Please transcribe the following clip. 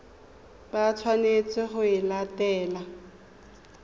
ba tshwanetseng go e latela